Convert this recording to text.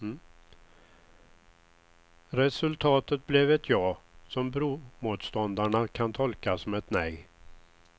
Resultatet blev ett ja som bromotståndarna kan tolka som ett nej.